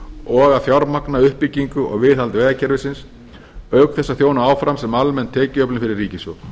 og að fjármagna uppbyggingu og viðhald vegakerfisins auk þess að þjóna áfram sem almenn tekjuöflun fyrir ríkissjóð